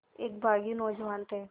एक बाग़ी नौजवान थे